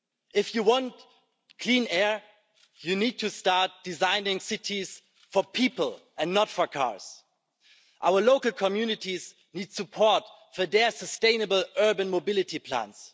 If you want clean air, you need to start designing cities for people and not for cars. Our local communities need support for their sustainable urban mobility plans.